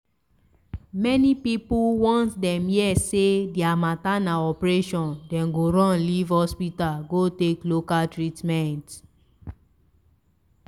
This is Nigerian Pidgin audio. many pipu once dem here say deir matter na operation dem go run live hospital go take local treatment.